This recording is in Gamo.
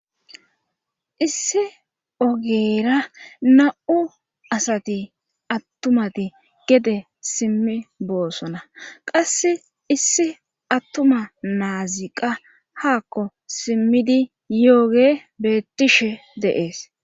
Issi ogeera na'u asati attumati gede simmi boossona qass issi attuma naaziqa haakko simmidi yooge beettishe deees.